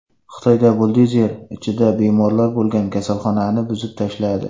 Xitoyda buldozer ichida bemorlar bo‘lgan kasalxonani buzib tashladi.